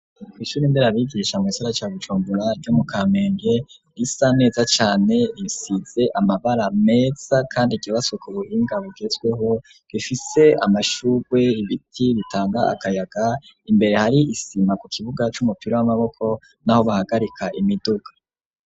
Kw'ishura nderabigisha mugisagara ca Bujumbura ryo mu kamenge risa neza cane risize amabara meza kandi ryubatswe k'ububinga bugezweho rifise amashurwe ibiti bitanga akayaga imbere hari isima ku kibuga c'umupira w'amaboko n'aho bahagarika imiduga.